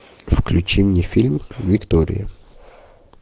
включи мне фильм виктория